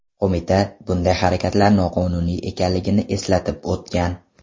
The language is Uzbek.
Qo‘mita bunday harakatlar noqonuniy ekanligini eslatib o‘tgan.